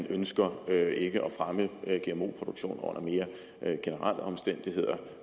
ønsker at fremme gmo produktion under mere generelle omstændigheder